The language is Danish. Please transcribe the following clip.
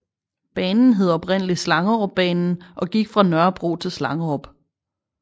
Banen hed oprindeligt Slangerupbanen og gik fra Nørrebro til Slangerup